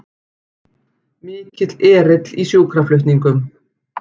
Mikill erill í sjúkraflutningum